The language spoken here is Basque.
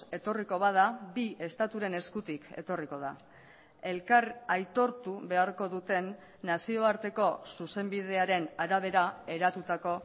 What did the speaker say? etorriko bada bi estaturen eskutik etorriko da elkar aitortu beharko duten nazioarteko zuzenbidearen arabera eratutako